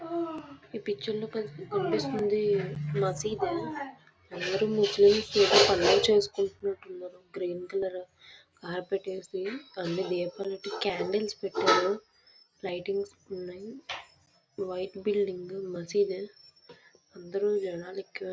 ఈ పిక్చర్ లో మనకి కనిపిస్తుంది.ఒక మసీదు అందరూ ఏవో పనులు చేసుకున్నట్టున్నారు. గ్రీన్ కలర్ అనీ దీపాలు పెట్టీ క్యాండిల్స్ పెట్టారు. లైటింగ్స్ ఉన్నాయి. వైట్ బిల్డింగు మసీదు అందరూ యునాలిక్ --